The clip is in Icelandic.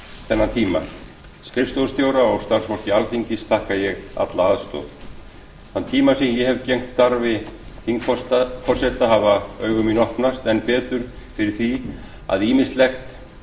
þennan tíma skrifstofustjóra og starfsfólki alþingis þakka ég alla aðstoð þann tíma sem ég hef gegnt starfi þingforseta hafa augu mín opnast enn betur fyrir því að ýmislegt